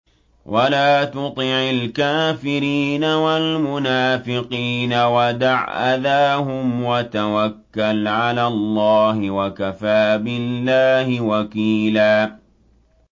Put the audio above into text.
وَلَا تُطِعِ الْكَافِرِينَ وَالْمُنَافِقِينَ وَدَعْ أَذَاهُمْ وَتَوَكَّلْ عَلَى اللَّهِ ۚ وَكَفَىٰ بِاللَّهِ وَكِيلًا